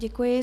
Děkuji.